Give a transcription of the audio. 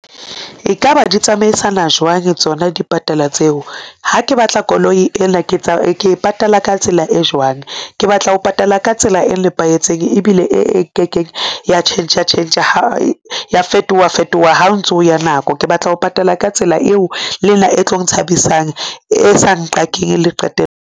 Ekaba di tsamaisana jwang tsona dipatala tseo? ha ke batla koloi ena, ke e patala ka tsela e jwang? ke batla ho patala ka tsela e nepahetseng ebile e ke keng ya tjhentjha-tjhentjha ya fetoha-fetoha ha o ntso ya nako. Ke batla ho patala ka tsela eo le nna e tlong nthabisang e sa nqakeng le qete.